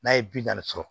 N'a ye bi naani sɔrɔ